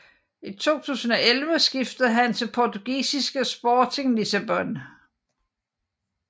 I 2011 skiftede han til portugisiske Sporting Lissabon